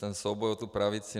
Ten souboj o tu pravici...